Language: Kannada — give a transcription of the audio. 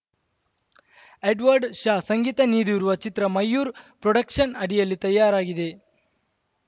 ಎಡ್ವರ್ಡ್‌ ಶಾ ಸಂಗೀತ ನೀಡಿರುವ ಚಿತ್ರ ಮಯೂರ್ ಪ್ರೊಡಕ್ಷನ್‌ ಅಡಿಯಲ್ಲಿ ತಯಾರಾಗಿದೆ